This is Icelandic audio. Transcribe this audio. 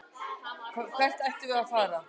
Hvert ættum við að fara?